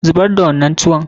Zubar da wannan tuwon!